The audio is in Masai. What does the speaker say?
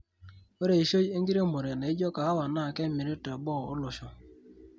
Ore eishoi enkiremore naijo kahawa naa kemiri teboo olosho.